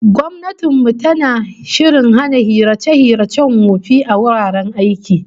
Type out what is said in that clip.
Gwamnatin mu tana shirin hana hirace-hiracen wofi a wuraren aiki